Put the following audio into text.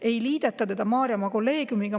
Ei liideta teda Maarjamaa kolleegiumiga.